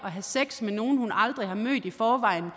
at have sex med nogle hun aldrig har mødt i forvejen